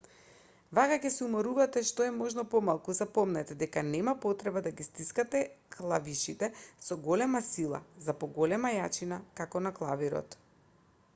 вака ќе се уморувате што е можно помалку запомнете дека нема потреба да ги стискате клавишите со поголема сила за поголема јачина како на клавирот